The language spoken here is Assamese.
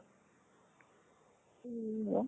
উম